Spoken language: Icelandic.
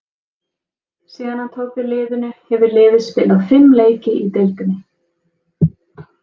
Síðan hann tók við liðinu hefur liðið spilað fimm leiki í deildinni.